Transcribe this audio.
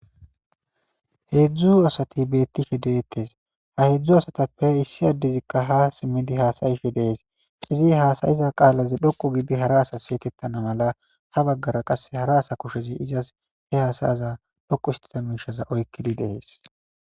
heedzdzu asati beettife deettes ha hedzdzu asatappe issi addezikka ha simmidi haasayife dees izi haasayiza qaalazi dhokku gidi hara asa seetettana mala ha baggara qasse hara asa kushezi izas he hasayaza dhokku istita miishaza oykkidi dees